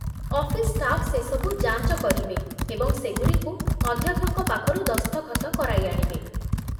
office staff ସେସବୁ ଯାଞ୍ଚ କରିବେ ଏବଂ ସେଗୁଡ଼ିକୁ ଅଧ୍ୟକ୍ଷଙ୍କ ପାଖରୁ ଦସ୍ତଖତ କରାଇ ଆଣିବେ